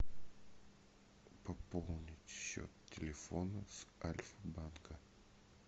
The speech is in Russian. пополнить счет телефона с альфа банка